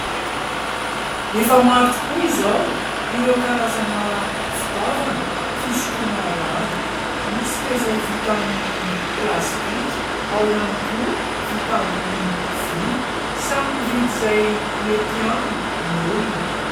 Efa maro tokoa izao ireo karazana fitaovana fisotroana rano, misy ireo izay vita amin'ny plastika, ao ihany koa vita amin'ny vy. Samy mividy izay mety aminy ny olona.